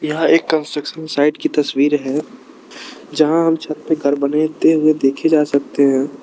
यहा एक construction site की तस्वीर है जहां हम छत पे घर बनाते हुए देखे जा सकते हैं।